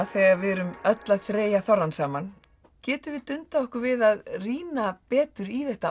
þegar við erum öll að þreyja þorrann saman getum við dundað okkur við að rýna betur í þetta